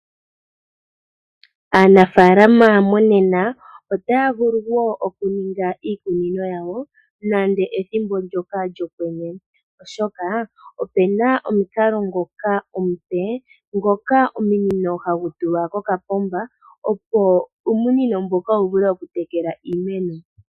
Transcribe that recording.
Aanafaalama monena otaya vulu wo okuninga iikunino yawo nando ethimbo ndyoka lyokwenye, oshoka opu na omukalo ngoka omupe, ngoka omunino hagu tulwa kokapomba, opo uumunino mboka wu vule okutekela iimeno.